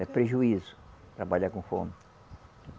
É prejuízo trabalhar com fome.